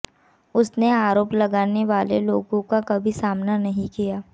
उसने आरोप लगाने वाले लोगों का कभी सामना नहीं किया